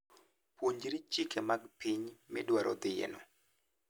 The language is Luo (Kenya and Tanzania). Puonjri chike mag piny midwaro dhiyeno.